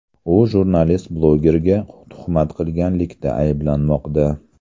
U jurnalist-blogerga tuhmat qilganlikda ayblanmoqda.